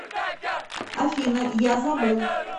афина я забыл